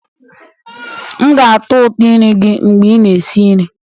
M ga-atọ ụtọ nri gị mgbe ị na-esi nri